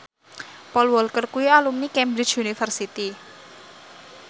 Paul Walker kuwi alumni Cambridge University